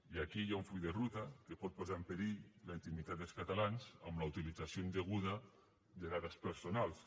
i aquí hi ha un full de ruta que pot posar en perill la intimitat dels catalans amb la utilització indeguda de dades personals